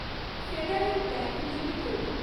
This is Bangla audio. federal Bank limited